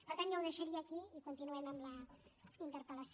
per tant jo ho deixaria aquí i continuem amb la interpel·lació